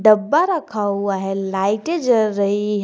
डब्बा रखा हुआ है लाइटें जल रही हैं।